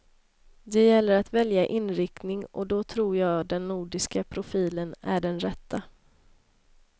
Det gäller att välja inriktning och då tror jag den nordiska profilen är den rätta.